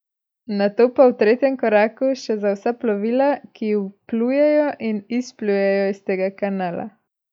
Nato pa v tretjem koraku še za vsa plovila, ki vplujejo in izplujejo iz tega kanala.